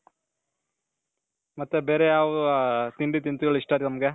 ಮತ್ತೆ ಬೇರೆ ಯಾವ ತಿಂಡಿ ತಿನಿಸುಗಳು ಇಷ್ಟ ನಿಮ್ಗೆ